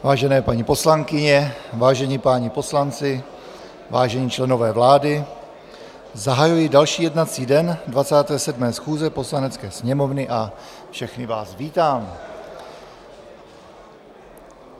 Vážené paní poslankyně, vážení páni poslanci, vážení členové vlády, zahajuji další jednací den 27. schůze Poslanecké sněmovny a všechny vás vítám.